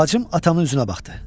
Bacım atamın üzünə baxdı.